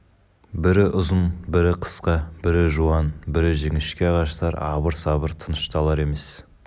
бірі ұзын бірі қысқа бірі жуан бірі жіңішке ағаштар абыр-сабыр тынышталар емес